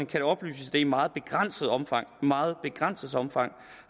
kan oplyses at det i meget begrænset omfang meget begrænset omfang